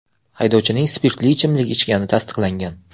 Haydovchining spirtli ichimlik ichgani tasdiqlangan.